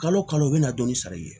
Kalo kalo u bɛna dɔnni sara i ye